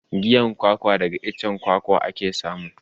Giyan kwakwa daga icen kwakwa ake samu.